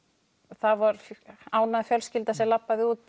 það var ánægð fjölskylda sem labbaði út